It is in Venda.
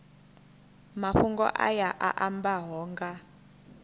mafhungo aya a ambaho nga